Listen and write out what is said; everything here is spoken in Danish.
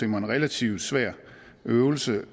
en relativt svær øvelse